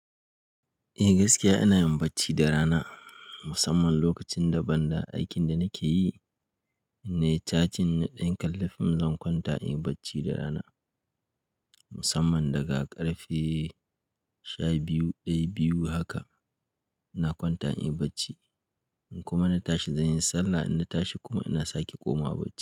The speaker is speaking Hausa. Eh, gaskiya ina yin bacci da rana musamman lokacin daban da aikin da nake yi nai chatting, nayi ɗan kallon fim, zan kwanta in yi bacci da rana musamman daga karfe sha biyu, daya, biyu haka ina kwanta in yi bacci. In kuma na tashi zan yi sallah, in na tashi kuma ina sake komawa bacci.